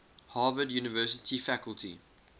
harvard university faculty